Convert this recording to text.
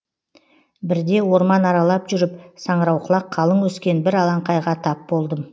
бірде орман аралап жүріп саңырауқұлақ қалың өскен бір алаңқайға тап болдым